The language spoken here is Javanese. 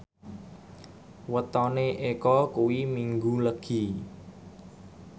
wetone Eko kuwi Minggu Legi